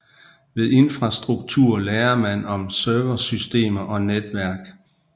Ved infrastruktur lærer man om serversystemer og netværk